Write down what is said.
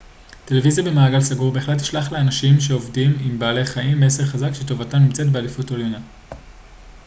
טלוויזיה במעגל סגור בהחלט תשלח לאנשים שעובדים עם בעלי חיים מסר חזק שטובתם נמצאת בעדיפות עליונה